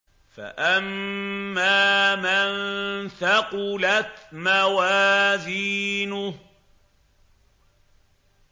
فَأَمَّا مَن ثَقُلَتْ مَوَازِينُهُ